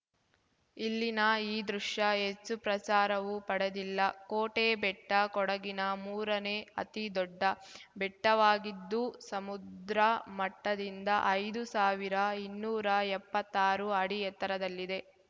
ಇಲ್ಲಿನ ಈ ದೃಶ್ಯ ಹೆಚ್ಚು ಪ್ರಚಾರವೂ ಪಡೆದಿಲ್ಲ ಕೋಟೆ ಬೆಟ್ಟ ಕೊಡಗಿನ ಮೂರನೇ ಅತಿದೊಡ್ಡ ಬೆಟ್ಟವಾಗಿದ್ದು ಸಮುದ್ರ ಮಟ್ಟದಿಂದ ಐದು ಸಾವಿರಇನ್ನೂರ ಎಪ್ಪತ್ತಾರು ಅಡಿ ಎತ್ತರದಲ್ಲಿದೆ